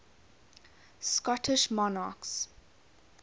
scottish monarchs